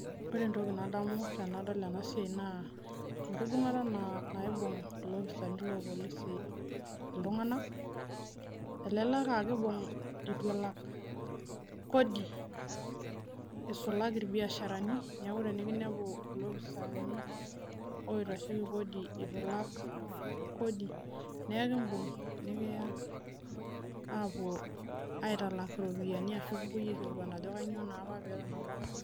Ore entoki nadamu tenadol ena Siaii naa enkibungata naibug ilopissaaani loolpolisi iltungana, elelek AA living letu elak Kodi, eisulaki ilbiasharani neeku tenikutumi ilopissaaani le Kodi etu ilak Kodi neekibug, niya apuo aitalak iropiyani, ashu kipuoi aikilikwan ajo kainyoo naa peton apaki etu ilak.